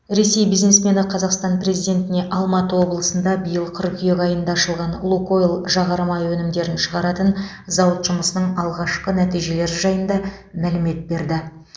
ресей бизнесмені қазақстан президентіне алматы облысында биыл қыркүйек айында ашылған лукойл жағармай өнімдерін шығаратын зауыт жұмысының алғашқы нәтижелері жайында мәлімет берді